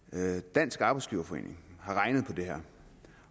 dansk arbejdsgiverforening har regnet på det her